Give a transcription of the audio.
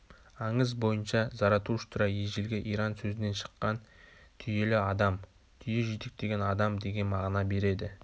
аңыз бойынша заратуштра ежелгі иран сөзінен шыққан түйелі адамтүйе жетектеген адам деген мағына береді